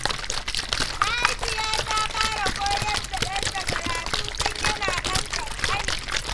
Mahaifiya ta fara koyar da ɗanta karatu tun yana ɗan ƙanƙani.